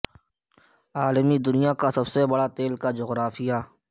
عالمی دنیا کا سب سے بڑا تیل کی جغرافیہ